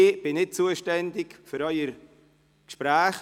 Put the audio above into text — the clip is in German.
Ich bin nicht zuständig für Ihre Gespräche.